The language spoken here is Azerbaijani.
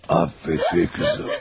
Affet məni, qızım.